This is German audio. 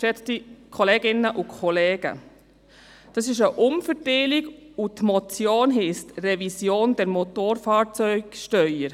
Das ist eine Umverteilung, und die Motion heisst «Revision der Motorfahrzeugsteuer».